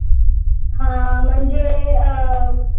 हा म्हणजे अं